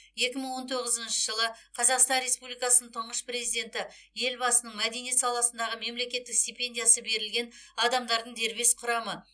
екі мың он тоғызыншы жылы қазақстан республикасының тұңғыш президенті елбасының мәдениет саласындағы мемлекеттік стипендиясы берілген адамдардың дербес құрамы